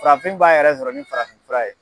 Farafin b'a yɛrɛ sɔrɔ ni farafinfura ye.